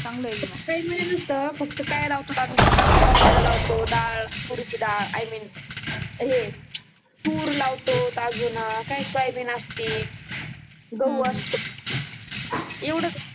काही नसत फक्त काय लावतो आम्ही शेतात हरबरा लावतो दाळ तुरीची दाळ आय मीन हे तूर लावतो अजून काय सोयाबीन असते गहू असते येवळच